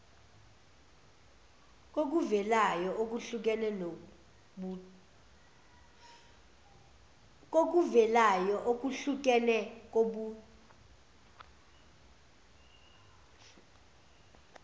kokuvelayo okuhlukene kobuh